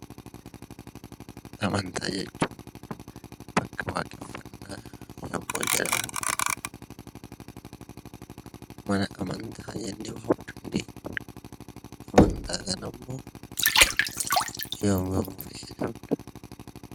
Amantaa jechuun bakka waaqeffannaa yommuu jedhamu mana amantaa jennee waamuu dandeenya. Amantaa kana immoo yoom yoom fayyadamna?